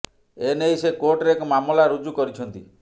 ଏ ନେଇ ସେ କୋର୍ଟରେ ଏକ ମାମଲା ରୁଜୁ କରିଛନ୍ତି